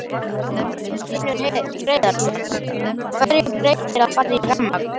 Magnús Hlynur Hreiðarsson: Hverju breytir að fara í rafmagn?